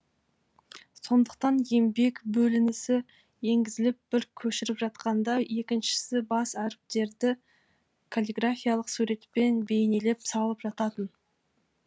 сондықтан еңбек бөлінісі енгізіліп бірі көшіріп жатқанда екіншісі бас әріптерді каллиграфиялық суретпен бейнелеп салып жататын